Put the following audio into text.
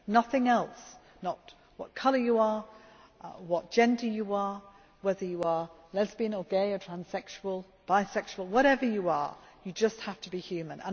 Nothing else not what colour you are, what gender you are, whether you are lesbian, gay, transsexual or bisexual, whatever you are you just have to be human.